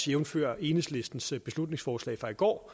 jævnfør enhedslistens beslutningsforslag fra i går